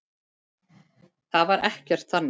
Það var ekkert þannig.